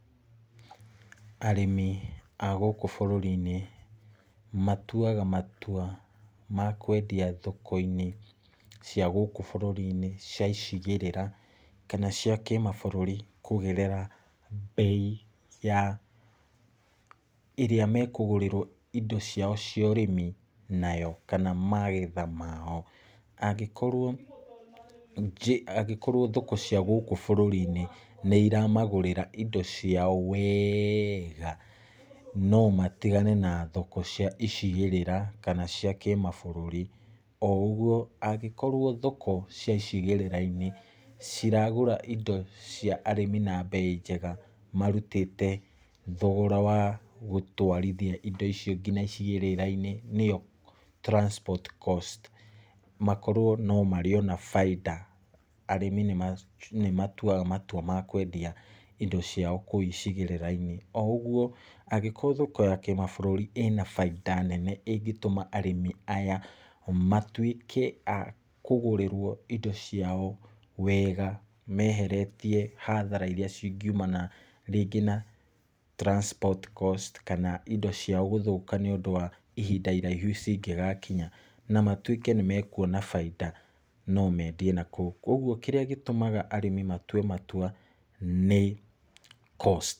Arĩmi a gũkũ bũrũri-inĩ matuaga matua ma kwendia thoko-inĩ cia gũkũ bũrũri-inĩ cia icigĩrĩra kana cia kĩmabũrũri kũgerera mbei ya ĩrĩa mekũgũrĩrwo indo ciao cia ũrĩmi nayo kana magetha mao. Angĩkorwo njĩ angĩkorwo thoko cia gũkũ bũrũri-inĩ nĩiramagũrĩra indo ciao wega no matigane na thoko cia icigĩrĩra kana cia kĩmabũrũri. O ũguo, angĩkorwo thoko cia icigĩrĩra-inĩ ciragũra indo cia arĩmi na mbei njega, marutĩte thogora wa gũtwarithia indo icio kinya icigĩrĩra-inĩ nĩyo transport cost, makorwo no marĩona bainda, arĩmi nĩmatuaga matua ma kwendia indo ciao kũu icigĩrĩra-inĩ. O ũguo, angĩkorwo thoko ya kĩmabũrũri ĩna bainda nene ĩngĩtũma arĩmi aya matuĩke a kũgũrĩrwo indo ciao wega meheretie hathara iria cingiumana rĩngĩ na transport cost kana indo ciao gũthũka nĩũndũ wa ihinda iraihu cingĩgakinya, na matuĩke nĩmekuona bainda no mendie na kũu, kuoguo kĩrĩa gĩtũmaga arĩmi matue matua nĩ cost.